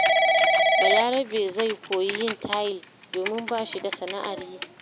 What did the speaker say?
Balarabe zai koyi yin tayil, domin ba shi da sana’ar yi.